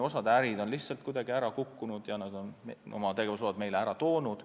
Osa ärisid on lihtsalt kuidagi kokku kukkunud ja oma tegevusloa meile ära toonud.